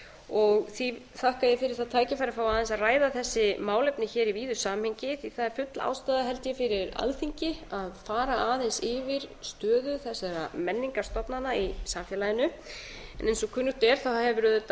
og því þakka ég fyrir það tækifæri að fá aðeins að ræða þessi málefni hér í víðu samhengi því það er full ástæða held ég fyrir alþingi að fara aðeins yfir stöðu þessara menningarstofnana í samfélaginu eins og kunnugt er